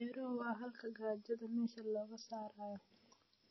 Beeruhu waa xalka gaajada meesha looga saarayo.